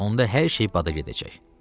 Onda hər şey bada gedəcək.